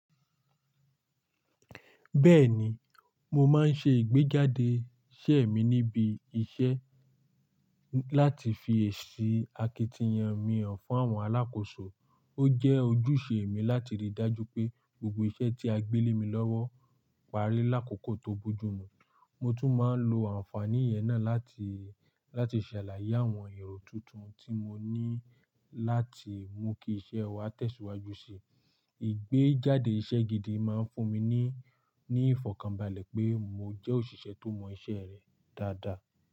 Bẹ́ẹ̀ni, mo máa ń ṣe ìgbéjáde iṣẹ́ mi níbi iṣẹ́ láti fi èsì akitiyan mi hàn fún àwọn alákòóso. Ó jẹ́ ojúṣe mi láti rí i dájú pé gbogbo iṣẹ́ tí a gbé lé mi lọ́wọ́ parí lákòókò tó bójú mu. Mo tún máa ń lo àǹfààní yẹn náà láti, láti ṣàlàyé àwọn èrò tuntun tí mo ní láti mú kí iṣẹ́ wa tẹ̀síwájú sí i. Ìgbéjáde iṣẹ́ gidi máa ń fún mi ní, ní ìfọ̀kànbalẹ̀ pé mo jẹ́ òṣìṣẹ́ tó mọ iṣẹ́ rẹ̀ dáadáa.